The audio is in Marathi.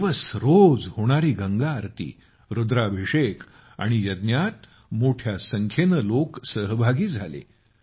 तीन दिवस रोज होणारी गंगा आरती रूद्राभिषेक आणि यज्ञात मोठ्या संख्येनं लोक सहभागी झाले